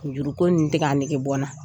Juruko nin tɛ ka nɛge bɔnna.